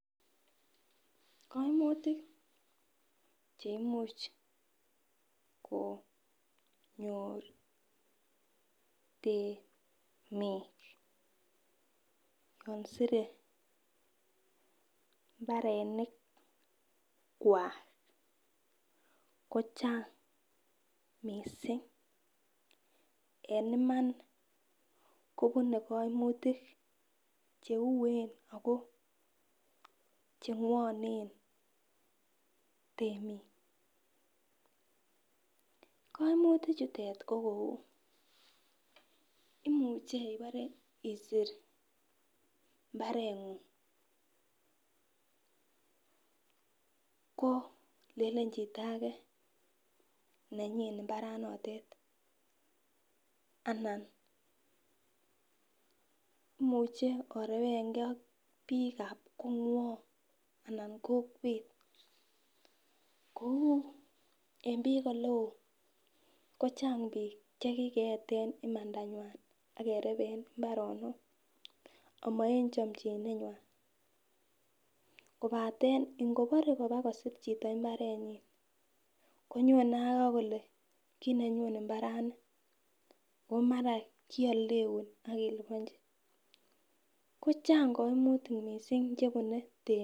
koimutik chneimuch konyoor temiik yon sire mbarenik kwaak kochang mising en iman kobune koimutik cheuen ago chengwonen temik, koimutik chutet ko kouu imuche ibore isiir imbareengung kolelen chito age nenyiin imbaranotet anan imuche orwengaa biik ab konwong anan kokweet, kouu en biik eleoo kochang biik chekigeeten imandanywaan ak kerebeen imbaronook ama en chomchinet nywaan, kobate ngobore koraa kosiir chito imbareet nyin konyone ak kole kinenyun imbarani ooh mara kioldeuun ak ilibonchi, ko chang koimutik mising chebune temik.